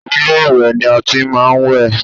Ilé-ìwẹ̀ ni a ti máa ń wẹ̀